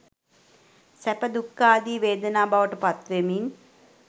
සැප, දුක්ඛාදීි වේදනා බවට පත්වෙමින්